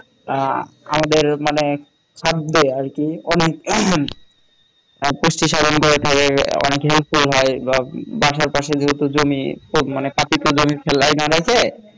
আমাদের মানে থাকবে আরকি অনেক তার পুষ্টি সাধন হয় অনেক help ও হয় বা বাসার পাশে যেহেতু জমি তো মানে পাপিত জমি ফেলায় না অনেকে